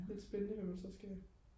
lidt spændende hvad man så skal